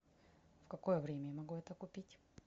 в какое время я могу это купить